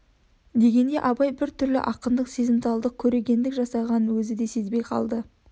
дегенде абай бір түрлі ақындық сезімталдық көрегендік жасағанын өзі де сезбей қалды